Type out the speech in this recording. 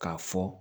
K'a fɔ